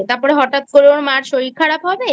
তারপরে হঠাৎ করে ওর মার শরীর খারাপ হবে